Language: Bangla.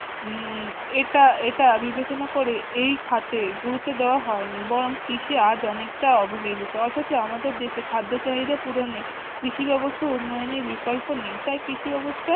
উম এটা এটা বিবেচনা করে এই খাতে গুরুত্ব দেওয়া হয়নি বরং কৃষি আজ অনেকটা অবহেলিত অথচ আমাদের দেশে খাদ্য চাহিদা পূরণে কৃষি ব্যবস্থার উন্নয়নের বিকল্প নেই তাই কৃষি ব্যবস্থা